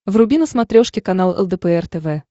вруби на смотрешке канал лдпр тв